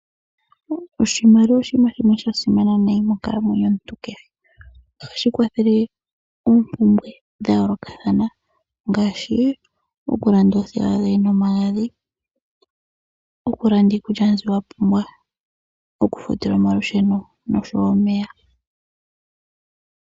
Oshimaliwa oshinima shimwe sha simana nayi monkalamwenyo yomuntu kehe. Ohashi kwathele oompumbwe dha yoolokathana, ngaashi; okulanda oothewa nomagadhi, okulanda iikulya, okufuta omalusheno, noshowo omeya.